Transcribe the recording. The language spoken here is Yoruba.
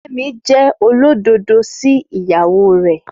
Fẹ́mi jẹ́ olódodo sí ìyàwó rẹ̀